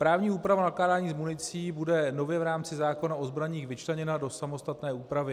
Právní úprava nakládání s municí bude nově v rámci zákona o zbraních vyčleněna do samostatné úpravy.